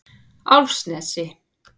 Álfsnesi